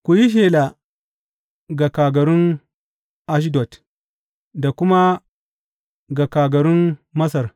Ku yi shela ga kagarun Ashdod da kuma ga kagarun Masar.